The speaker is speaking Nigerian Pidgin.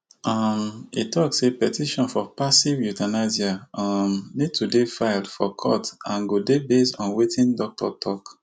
um e tok say petition for passive euthanasia um need to dey filed for court and go dey based on wetin doctor tok